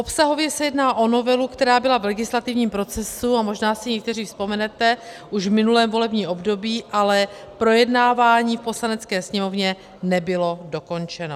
Obsahově se jedná o novelu, která byla v legislativní procesu, a možná si někteří vzpomenete, už v minulém volebním období, ale projednávání v Poslanecké sněmovně nebylo dokončeno.